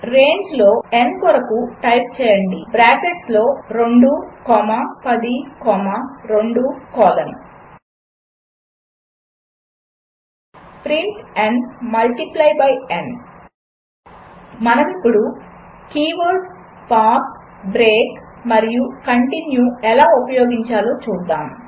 రేంజ్లో n కొరకు type చేయండి బ్రాకెట్స్ లో 2 comma 10 comma 2 colon print n multiply by n మనమిప్పుడు కీవర్డ్స్ పాస్ బ్రేక్ మరియు కంటిన్యూ ఎలా ఉపయోగించాలో చూద్దాము